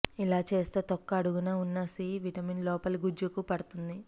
ఇలా చేస్తే తొక్క అడుగున ఉన్న సి విటమిన్ లోపలి గుజ్జుకు పడుతుంది